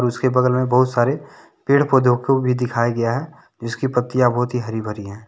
उसके बगल में बहुत सारे पेड़-पौधों को भी दिखाया गया है जिसकी पत्तियाँ बहुत ही हरी-भरी हैं।